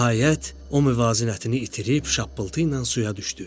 Nəhayət, o müvazinətini itirib şappıltı ilə suya düşdü.